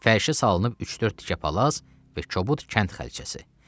Fərşə salınıb üç-dörd tikə palaz və kobud kənd xalçası.